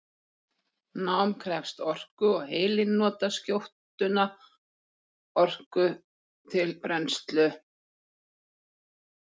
Nám krefst orku og heilinn notar skjótunna orku til brennslu.